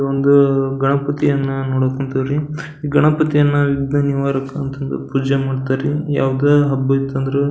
ಇದೊಂದು ಗಣಪತಿಯನ್ನ ನೋಡಕ್ ಹೋನ್ತಿವ್ರಿ ಗಣಪತಿಯನ್ನ ವಿಗ್ನ ನಿವಾರಕ ಅಂತಂದ್ ಪೂಜೆ ಮಾಡ್ತರಿ ಯಾವುದೇ ಒಂದು ಹಬ್ಬ ಇತ್ತಂದ್ರು --